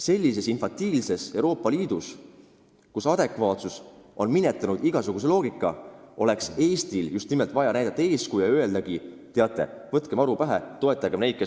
Sellises infantiilses Euroopa Liidus, kus paljud on minetanud igasuguse loogika, oleks Eestil vaja näidata eeskuju ja öelda: "Teate, võtkem aru pähe!